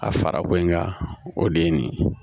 A fara ko in kan o de ye nin ye